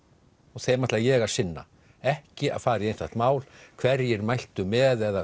og þeim ætla ég að sinna ekki að fara í einstakt mál hverjir mæltu með eða